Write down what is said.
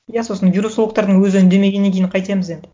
иә сосын вирусологтардың өзі үндемегеннен кейін қайтеміз енді